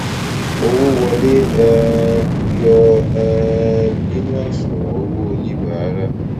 owó wọlé um yọ um nínú àṣùwọn owó oníbàárà